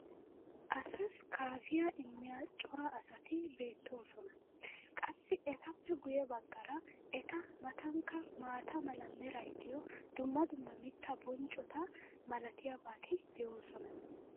asassi kaafiya immiya cora asati beetoosona. qassi etappe guye bagaara eta matankka maata mala meray diyo dumma dumma mittaa bonccota malatiyaabati de'oosona.